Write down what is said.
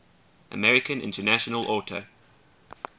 american international auto